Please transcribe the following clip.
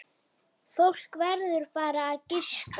Fólk verður bara að giska.